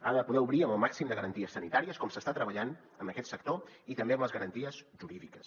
ha de poder obrir amb el màxim de garanties sanitàries com s’està treballant amb aquest sector i també amb les garanties jurídiques